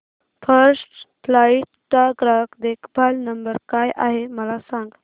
first flight चा ग्राहक देखभाल नंबर काय आहे मला सांग